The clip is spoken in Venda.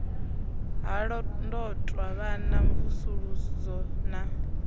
ha londotwa vhana mvusuludzo na